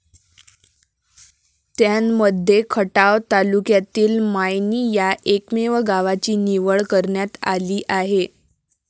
त्यांमध्ये खटाव तालुक्यातील मायणी या एकमेव गावाची निवड करण्यात आली आहे.